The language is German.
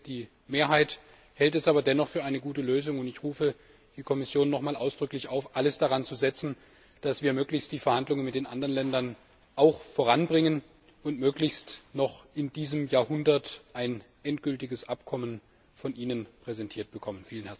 Ich denke, die Mehrheit hält es aber dennoch für eine gute Lösung, und ich rufe die Kommission noch einmal ausdrücklich auf, alles daran zu setzen, dass wir möglichst die Verhandlungen mit den anderen Ländern voranbringen und möglichst noch in diesem Jahrzehnt ein endgültiges Abkommen von Ihnen präsentiert bekommen.